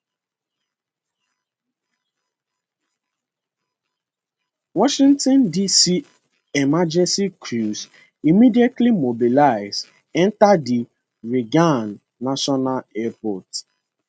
washington dc emergency crews immediately mobilize enta di reagan national airport